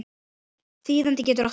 Þýðandi getur átt við